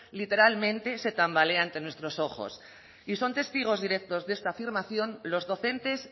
literalmente se tambalee ante nuestros ojos y son testigos directos de esta afirmación los docentes